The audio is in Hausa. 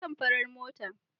Na fi son farar mota.